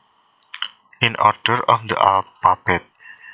In order of the alphabet